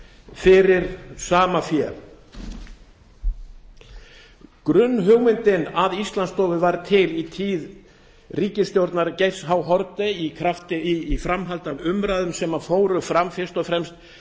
fyrir sama fé grunnhugmyndin að íslandsstofu varð til í tíð ríkisstjórnar geirs h haarde í framhaldi af umræðum sem fóru fram fyrst og fremst